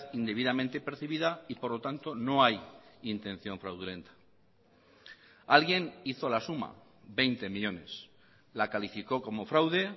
indebidamente percibida y por lo tanto no hay intención fraudulenta alguien hizo la suma veinte millónes la calificó como fraude